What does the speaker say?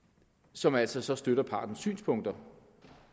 som altså støtter partens synspunkter